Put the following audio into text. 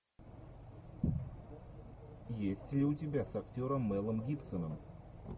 есть ли у тебя с актером мелом гибсоном